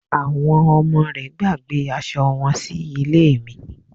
Àwọn ọmọ rẹ̀ gbàgbé asọ wọn sí ilé mi